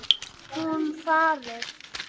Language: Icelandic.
Hún farið.